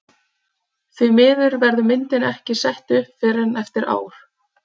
Því miður verður myndin ekki sett upp fyrr en eftir ár.